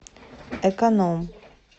эконом